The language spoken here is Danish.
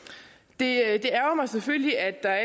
det ærgrer mig selvfølgelig at der